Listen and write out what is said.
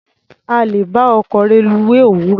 A lè bá ọkọ̀ reluwé òwúrọ̀.